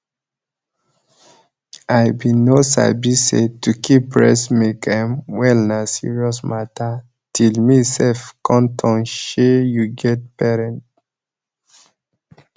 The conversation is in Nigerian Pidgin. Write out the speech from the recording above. i bin no sabi say to keep breast milk ehm well na serious mata till me sef come turn shey you get parent